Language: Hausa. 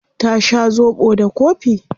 Ya sha zobo da kofi.